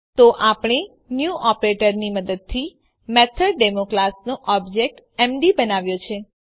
તો આપણે ન્યૂ ઓપરેટરની મદદથી મેથોડેમો ક્લાસનો ઓબ્જેક્ટ એમડી બનાવ્યો છે